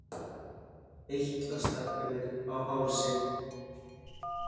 Eitlastækkanir á hálsi.